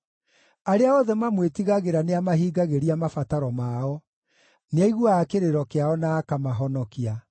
Arĩa othe mamwĩtigagĩra nĩamahingagĩria mabataro mao; nĩaiguaga kĩrĩro kĩao na akamahonokia.